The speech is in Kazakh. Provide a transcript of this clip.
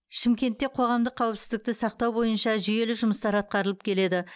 шымкентте қоғамдық қауіпсіздікті сақтау бойынша жүйелі жұмыстар атқарылып келеді